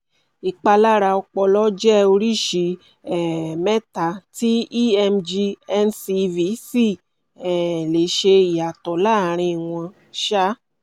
ìpalára ọpọlọ jẹ́ oríṣi um mẹ́ta tí emg ncv sì um lè ṣe ìyàtọ̀ láàárin wọn um